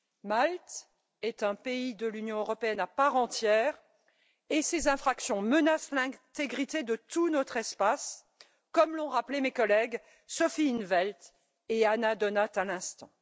Malte est un pays de l'Union européenne à part entière et ces infractions menacent l'intégrité de tout notre espace, comme l'ont rappelé mes collègues, Sophie in't Veld et Anna Donáth à l'instant.